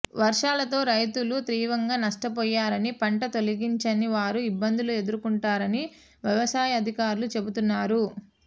వర్షాలతో రైతులు తీవ్రంగా నష్టపోయారని పంట తొలగించని వారు ఇబ్బందులు ఎదుర్కొంటున్నారని వ్యవసాయ అధికారులు చెబుతున్నారు